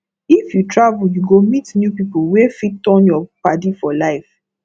if you travel you go meet new people wey fit turn your padi for life